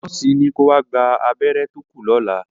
Nọ́ọ̀sì ní ko wá gba abẹ́rẹ́ tó kù lọ́la.